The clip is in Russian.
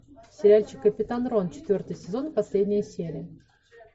сериальчик капитан рон четвертый сезон последняя серия